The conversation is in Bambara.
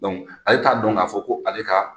ale t'a dɔn k'a fɔ ko ale ka